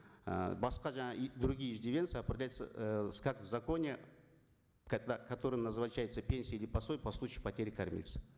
і басқа жаңа и другие иждивенцы определяются э как в законе когда которым назначается пенсия или пособие по случаю потери кормильца